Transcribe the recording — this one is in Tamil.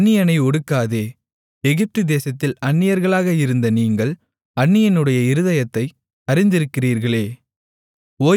அந்நியனை ஒடுக்காதே எகிப்துதேசத்தில் அந்நியர்களாக இருந்த நீங்கள் அந்நியனுடைய இருதயத்தை அறிந்திருக்கிறீர்களே